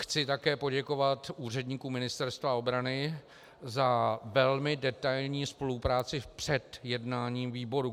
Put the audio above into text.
Chci také poděkovat úředníkům Ministerstva obrany za velmi detailní spolupráci před jednáním výboru.